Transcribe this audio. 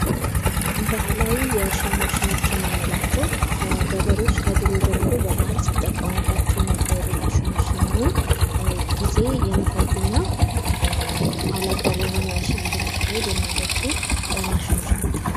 ባህላዊ የእርሻ ማሸኖች የምንላቸው ገበሬዎች ከድሮ ጀምሮ በባህል ሲጠቀሙባቸው የነበሩ ማሸኖች ሲሆኑ ጊዜ የሚፈጅና ኋላ ቀሪ ሆነ እርሻ እንድናደርግ የሚያደርጉ ማሸኖች ናቸው።